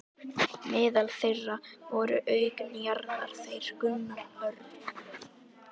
Meðal þeirra voru auk Njarðar þeir Gunnar Örn